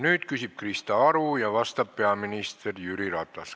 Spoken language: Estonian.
Nüüd küsib Krista Aru ja vastab peaminister Jüri Ratas.